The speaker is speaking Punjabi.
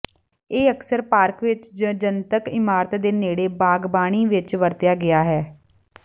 ਇਹ ਅਕਸਰ ਪਾਰਕ ਵਿੱਚ ਜ ਜਨਤਕ ਇਮਾਰਤ ਦੇ ਨੇੜੇ ਬਾਗਬਾਨੀ ਵਿੱਚ ਵਰਤਿਆ ਗਿਆ ਹੈ